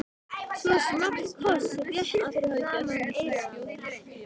Svo small koss rétt fyrir framan eyrað á mér.